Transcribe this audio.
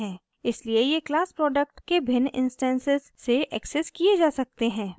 इसलिए ये class product के भिन्न इंस्टैंसेस से एक्सेस किये जा सकते हैं